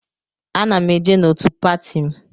Ana m eje n'otù pati m.